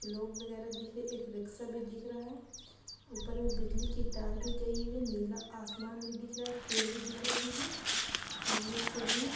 तो लोग वगैरह दिख र- एक रिक्शा भी दिख रहा है ऊपर मे बिजली की तार भी दिख गयी हुई है नीला आसमान भी दिख रहा है पेड़ भी दिख रहे हैं सामने एक सीढी है।